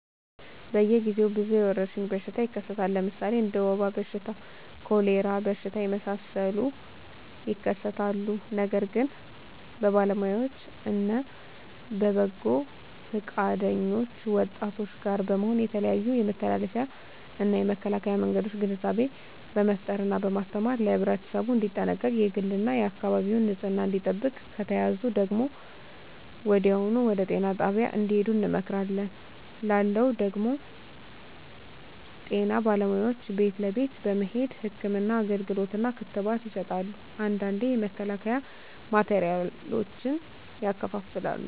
በየ ግዜው ብዙ የወረሽኝ በሽታ ይከሰታል ለምሣሌ እንደ ወባ በሽታ ኮሪላ በሽታ የመሣሠሉት ይከሠታሉ ነገር ግን በባለውያዎች እነ በበጎ ፈቃደኞች ወጣቶች ጋር በመሆን የተለያዮ የመተላለፊያ እና የመከላኪያ መንገዶችን ግንዛቤ በመፍጠር እና በማስተማር ለህብረተሠቡ እንዲጠነቀቅ የግል እና የአካባቢውን ንፅህና እንዲጠብቅ ከተያዙ ደግሞ ወዲያሁኑ ወደጤና ጣቢያ እንድሄዱ እንመክራለን ላለው ደግም ጤና ባለሙያዎች ቤት ለቤት በመሄድ ህክምና አገልግሎት እና ክትባት ይሠጣሉ አንዳንዴ የመከላከያ ማቴሪያሎችን ያከፋፍላሉ